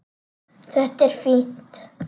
Þetta er fínt.